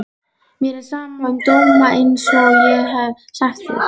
Mér er sama um dóma einsog ég hef sagt þér.